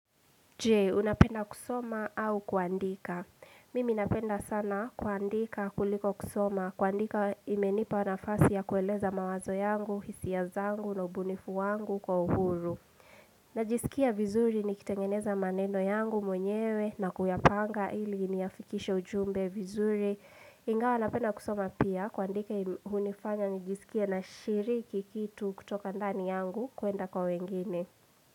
Je, unapenda kusoma au kuandika? Mimi napenda sana kuandika kuliko kusoma. Kuandika imenipa nafasi ya kueleza mawazo yangu, hisia zangu, na ubunifu wangu kwa uhuru. Najisikia vizuri nikitengeneza maneno yangu mwenyewe na kuyapanga ili nifikishe ujumbe vizuri. Ingawa napenda kusoma pia kuandika hunifanya nijisikie nashiriki kitu kutoka ndani yangu kwenda kwa wengine.